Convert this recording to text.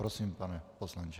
Prosím, pane poslanče.